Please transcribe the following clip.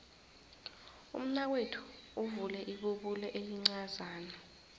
umnakwethu uvule ibubulo elincazana